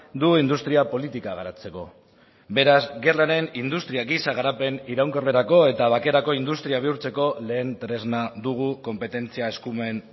du industria politika garatzeko beraz gerraren industria gisa garapen iraunkorrerako eta bakerako industria bihurtzeko lehen tresna dugu konpetentzia eskumen